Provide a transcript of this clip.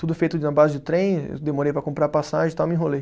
Tudo feito na base de trem, eu demorei para comprar passagem e tal, me enrolei.